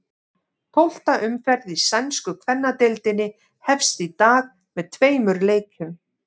Tólfta umferð í sænsku kvennadeildinni hefst í dag með tveimur leikjum.